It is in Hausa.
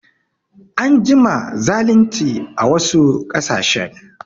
An jima zalinci a wasu ƙasashen